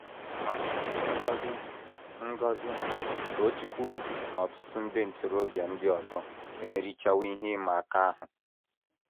Ma, Ngozi, Ngozi, Tochukwu, na ọtụtụ ndị ntorobịa ndị ọzọ emerichawo ihe ịma aka ahụ.